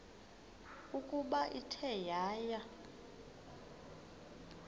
ukuba ithe yaya